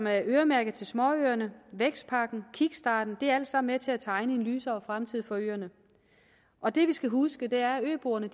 er øremærket til småøerne vækstpakken og kickstarten er alt sammen med til at tegne en lysere fremtid for øerne og det vi skal huske er at øboerne